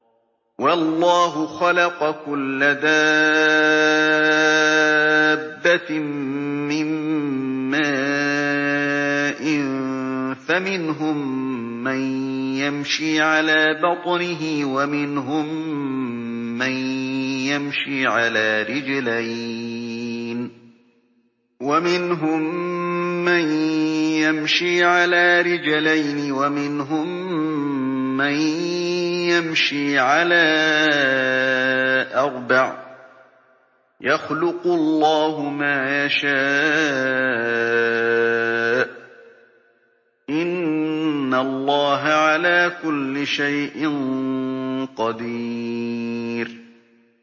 وَاللَّهُ خَلَقَ كُلَّ دَابَّةٍ مِّن مَّاءٍ ۖ فَمِنْهُم مَّن يَمْشِي عَلَىٰ بَطْنِهِ وَمِنْهُم مَّن يَمْشِي عَلَىٰ رِجْلَيْنِ وَمِنْهُم مَّن يَمْشِي عَلَىٰ أَرْبَعٍ ۚ يَخْلُقُ اللَّهُ مَا يَشَاءُ ۚ إِنَّ اللَّهَ عَلَىٰ كُلِّ شَيْءٍ قَدِيرٌ